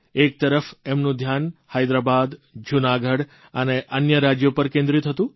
એક તરફ એમનું ધ્યાન હૈદરાબાદ જૂનાગઢ અને અન્ય રાજયો પર કેન્દ્રિત હતું